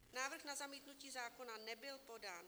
Návrh na zamítnutí zákona nebyl podán."